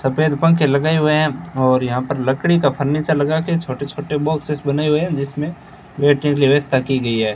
सफेद पंखे लगाए हुए हैं और यहां पर लकड़ी का फर्नीचर लगाके छोटे छोटे बॉक्सेस बनाए हुए हैं जिसमें बैठने के लिए व्यवस्था की गई है।